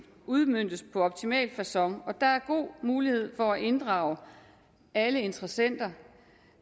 udmøntes på optimal facon og der er god mulighed for at inddrage alle interessenter